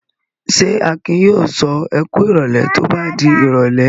Ṣé Akin yóò sọ "ẹ kú ìrọ́lẹ́" tí ó bá di ìrọ́lẹ́?